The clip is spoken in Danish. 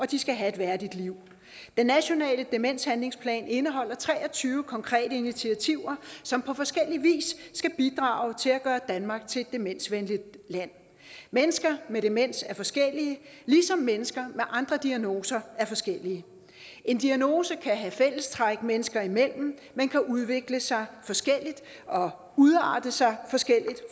de skal have et værdigt liv den nationale demenshandlingsplan indeholder tre og tyve konkrete initiativer som på forskellig vis skal bidrage til at gøre danmark til et demensvenligt land mennesker med demens er forskellige ligesom mennesker med andre diagnoser er forskellige en diagnose kan have fællestræk mennesker imellem men kan udvikle sig forskelligt og udarte sig forskelligt